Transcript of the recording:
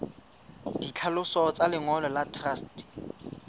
ditlhaloso tsa lengolo la truste